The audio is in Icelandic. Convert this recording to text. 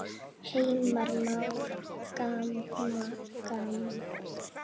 Heimir Már: Gamla fólkið?